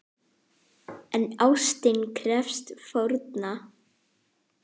En ástin krefst fórna!